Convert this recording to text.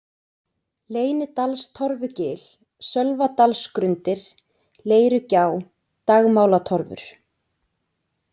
Leynidalstorfugil, Sölvadalsgrundir, Leirugjá, Dagmálatorfur